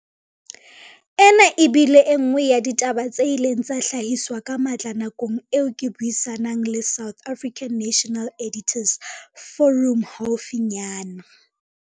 Ena e bile e nngwe ya ditaba tse ileng tsa hlahiswa ka matla nakong eo ke buisa nang le South African National Editors' Forum haufinyana.